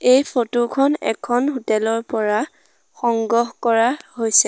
এই ফটো খন এখন হোটেল ৰ পৰা সংগ্ৰহ কৰা হৈছে।